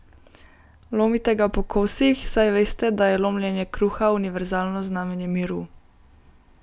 Lomite ga po kosih, saj veste, da je lomljenje kruha univerzalno znamenje miru.